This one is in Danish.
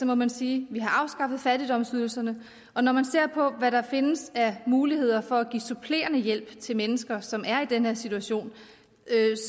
må man sige at vi har afskaffet fattigdomsydelserne og når man ser på hvad der findes af muligheder for at give supplerende hjælp til mennesker som er i den her situation